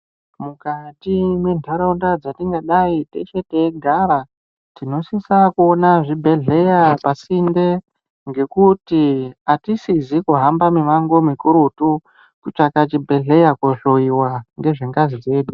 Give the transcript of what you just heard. Mukati mwentharunda dzatingadai teshe teigara tinosisa kuona zvibhedhlera pasinte ngekuti atisizi kuhamba mimango mikurutu kutsvaka chibhedhleya kohloyiwa ngezvengazi chete.